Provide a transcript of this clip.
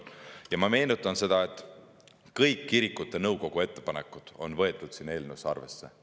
Ma meenutan, et kõik kirikute nõukogu ettepanekud on võetud siin eelnõus arvesse.